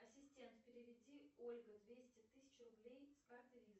ассистент переведи ольга двести тысяч рублей с карты виза